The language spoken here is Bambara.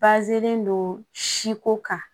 len don siko kan